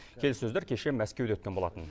келіссөздер кеше мәскеуде өткен болатын